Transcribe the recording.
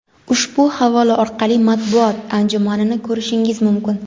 Ushbu havola orqali matbuot anjumanini ko‘rishingiz mumkin.